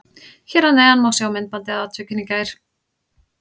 Hér að neðan má sjá myndbandið af atvikinu í gær.